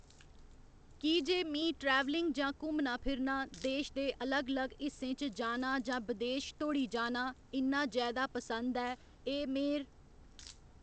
की जे मीं ट्रैवलिंग जां घूमना फिरना देश दे अलग अलग हिस्सें च जाना जां विदेश धोड़ी जाना इ'न्ना जैदा पसंद ऐ एह् मेर